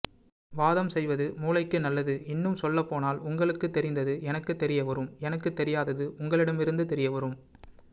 வாதம் செய்வது மூளைக்கு நல்லது இன்னும் சொல்லப் போனால் உங்களுக்கு தெரிந்தது எனக்கு தெரியவரும் எனக்கு தெரியாதது உங்களிடமிருந்து தெரியவரும்